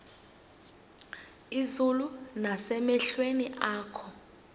izulu nasemehlweni akho